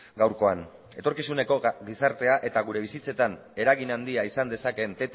gaurkoan etorkizuneko gizartea eta gure bizitzetan eragin handia izan dezakeen